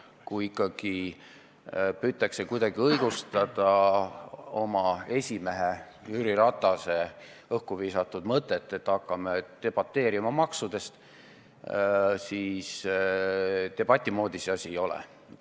Kuidagi püütakse õigustada oma esimehe Jüri Ratase õhku visatud mõtet, et hakkame debateerima maksude üle, aga debati moodi see asi ei ole.